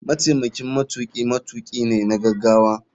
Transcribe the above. Mataimakin matuki matuki ne na gagawa.